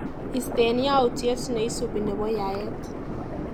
Istee yautyet neisupi nebo yaet.